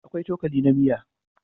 Akwai cokali na miya